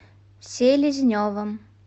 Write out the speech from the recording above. селезневым